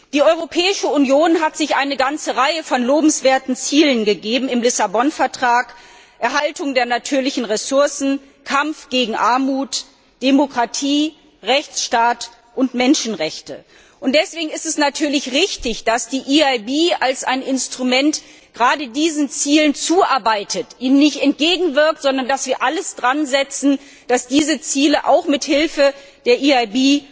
Die Europäische Union hat sich im Lissabon Vertrag eine ganze Reihe lobenswerter Ziele gegeben Erhaltung der natürlichen Ressourcen, Kampf gegen Armut, Demokratie, Rechtsstaatlichkeit und Menschenrechte. Deswegen ist es natürlich richtig, dass die EIB als ein Instrument gerade diesen Zielen zuarbeitet, ihnen nicht entgegenwirkt, sondern dass alles daran gesetzt wird, dass diese Ziele auch mithilfe der EIB